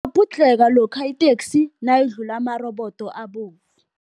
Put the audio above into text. lokha iteksi nayidlula amarobodo abovu.